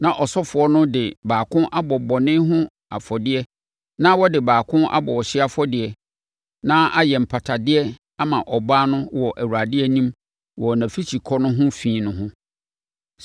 na ɔsɔfoɔ no de baako abɔ bɔne ho afɔdeɛ na ɔde baako abɔ ɔhyeɛ afɔdeɛ na ayɛ mpatadeɛ ama ɔbaa no wɔ Awurade anim wɔ nʼafikyikɔ no ho fi no ho.